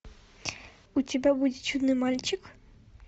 у тебя будет чудный мальчик